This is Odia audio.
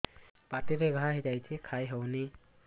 ପାଟିରେ ଘା ହେଇଛି ଖାଇ ହଉନି